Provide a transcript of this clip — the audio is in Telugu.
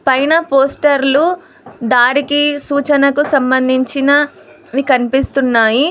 పైన పోస్టర్లు దారికి సూచనకు సంబంధించినవి కనిపిస్తున్నాయి.